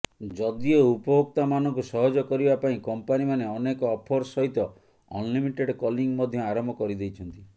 ଯଦିଓ ଉପଭୋକ୍ତାମାନଙ୍କୁ ସହଜ କରିବା ପାଇଁ କମ୍ପାନୀମାନେ ଅନେକ ଅଫର୍ସ ସହିତ ଅନଲିମିଟେଡ଼ କଲିଂ ମଧ୍ୟ ଆରମ୍ଭ କରିଦେଇଛନ୍ତି